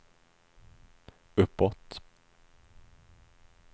uppåt